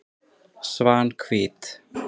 Svanhvít